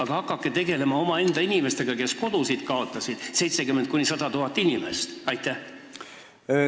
Ja hakake tegelema omaenda inimestega, kes kodu kaotasid, neid inimesi on 70 000 – 100 000!